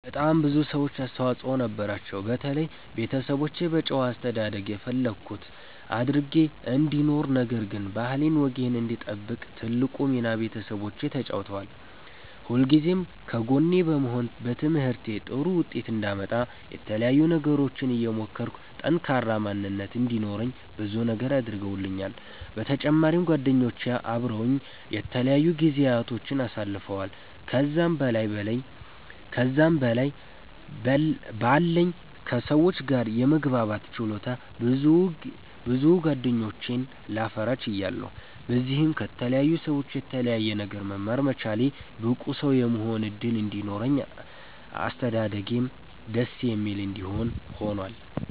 በጣም ብዙ ሰዎች አስተዋፅኦ ነበራቸዉ። በተለይ ቤተሰቦቼ በጨዋ አስተዳደግ የፈለኩት አድርጌ እንድኖር ነገር ግን ባህሌን ወጌን እንድጠብቅ ትልቁን ሚና ቤተሰቦቼ ተጫዉተዋል። ሁልጊዜም ከጎኔ በመሆን በትምህርቴ ጥሩ ዉጤት አንዳመጣ የተለያዩ ነገሮችን እየሞከርኩ ጠንካራ ማንነት እንዲኖረኝ ብዙ ነገር አድርገዉልኛል። በተጫማሪም ጓደኞቼ አበረዉኝ የተለያዩ ጊዚያቶችን አሳልፈዋል። ከዛም በላይ በለኝ ከ ሰዎች ጋር የመግባባት ችሎታ ብዙ ጌደኞችን ላፈራ ችያለሁ። በዚህም ከተለያዩ ሰዎች የተለያየ ነገር መማር መቻሌ ብቁ ሰዉ የመሆን እድል እንዲኖረኝ አስተዳደጌም ደስ የሚል እንዲሆን ሁኗል።